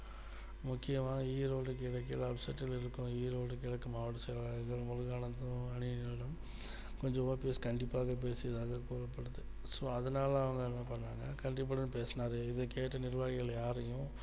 முக்கியமா ஈரோடு கிழக்கில் apset ல் இருக்கும் ஈரோடு கிழக்கு மாவட்ட செயலாளர் முருகானந்தம் அணியினரிடம் கொஞ்சம் OPS கண்டிப்பாக பேசியதாக கூறப்படுது so அதனால அவங்க என்ன பண்றாங்கன்னு கண்டிப்பாதா பேசினாரு இதை கேட்ட நிர்வாகிகள் யாரையும்